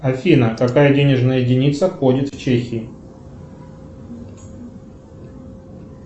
афина какая денежная единица ходит в чехии